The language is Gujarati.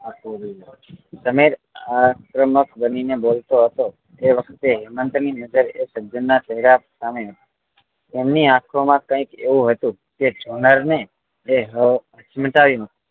સમીર આ આક્રમક બની નેં બોલતો હતો એ વખતે હેમંત ની નજરે એ સજ્જન નાં ચેહરા સામે તેમની આંખો માં કંઈક એવું હતું કે જોનાર ને એ સમજાઈ ના